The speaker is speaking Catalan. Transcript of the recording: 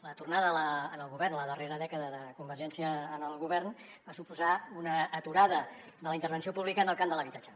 la tornada la darrera dècada de convergència al govern va suposar una aturada de la intervenció pública en el camp de l’habitatge